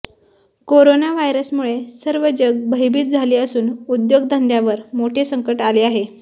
corona व्हायरसमुळे सर्व जग भयभीत झाले असून उद्योग धंद्यांवर मोठे संकट आले आहे